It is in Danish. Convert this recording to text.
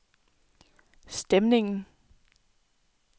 stemningen